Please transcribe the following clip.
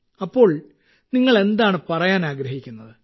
അപ്പോൾ നിങ്ങൾ എന്താണ് പറയാൻ ആഗ്രഹിക്കുന്നത്